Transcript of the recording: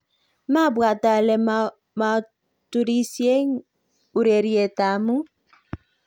mabwaat ale muaturisieeng urerietab amut